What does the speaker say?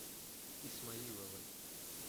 исмаиловой